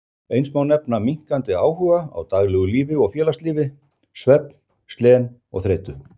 Eins má nefna minnkandi áhuga á daglegu lífi og félagslífi, svefnleysi, slen og þreytu.